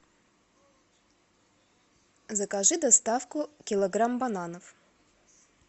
закажи доставку килограмм бананов